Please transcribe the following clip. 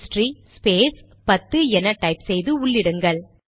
history space 10 என type செய்து உள்ளிடுங்கள்